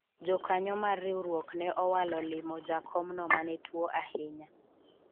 jokanyo mar riwruok ne owalo limo jakom no mane tuo ahinya